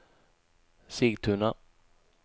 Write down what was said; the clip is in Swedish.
Sigtuna